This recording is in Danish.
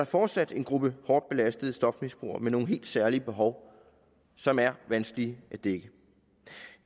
fortsat en gruppe hårdt belastede stofmisbrugere med nogle helt særlige behov som er vanskelige at dække